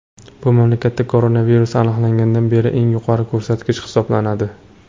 Bu mamlakatda koronavirus aniqlangandan beri eng yuqori ko‘rsatkich hisoblanadi.